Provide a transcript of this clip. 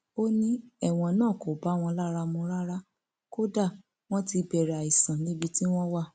ó ní ẹwọn náà kò bá wọn lára mu rárá kódà wọn ti bẹrẹ àìsàn níbi tí wọn wà